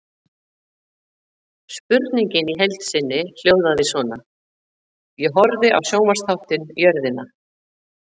Spurningin í heild sinni hljóðaði svona: Ég horfði á sjónvarpsþáttinn Jörðina.